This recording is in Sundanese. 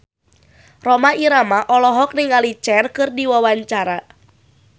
Rhoma Irama olohok ningali Cher keur diwawancara